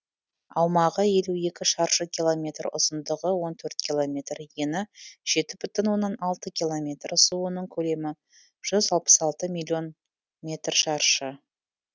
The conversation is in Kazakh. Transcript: аумағы елу екі шаршы километр ұзындығы он төрт километр ені жеті бүтін оннан алты километр суының көлемі жүз алпыс алты миллион метр шаршы